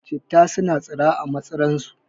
Citta suna tsira a matsi ran su